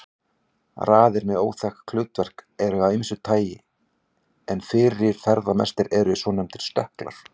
Raðir með óþekkt hlutverk eru af ýmsu tagi en fyrirferðamestir eru svonefndir stökklar.